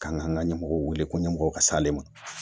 K'an k'an ka ɲɛmɔgɔw wele ko ɲɛmɔgɔw ka s'ale ma